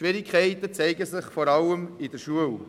Schwierigkeiten zeigen sich vor allem in der Schule.